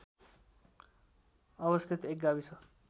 अवस्थित एक गाविस